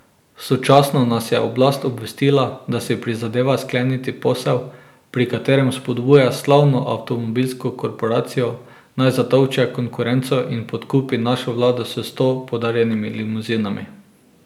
Sočasno nas je oblast obvestila, da si prizadeva skleniti posel, pri katerem spodbuja slavno avtomobilsko korporacijo, naj zatolče konkurenco in podkupi našo vlado s sto podarjenimi limuzinami.